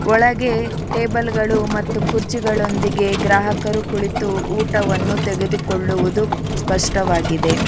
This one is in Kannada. ಒಳಗೆ ಟೇಬಲ್ಗಳು ಮತ್ತು ಕುರ್ಚಿಗಳೊಂದಿಗೆ ಗ್ರಾಹಕರು ಕುಳಿತು ಊಟವನ್ನು ತೆಗೆದುಕೊಳ್ಳುವುದು ಸ್ಪಷ್ಟವಾಗಿದೆ.